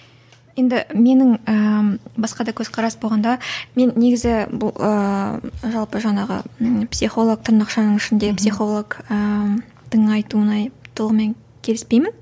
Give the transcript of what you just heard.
енді менің ііі басқа да көзқарас болғанда мен негізі бұл ыыы жалпы жаңағы психолог тырнақшаның ішіндегі психолог ыыы айтуына толығымен келіспеймін